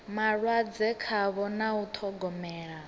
malwadze khavho na u ṱhogomela